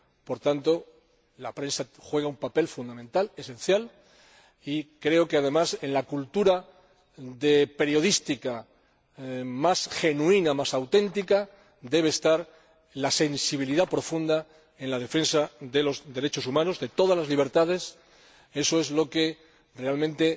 Por tanto, la prensa juega un papel fundamental, esencial, y creo que, además, en la cultura periodística más genuina, más auténtica, debe estar la sensibilidad profunda en la defensa de los derechos humanos, de todas las libertades. Eso es lo que realmente